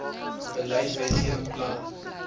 beleid wetgewing planne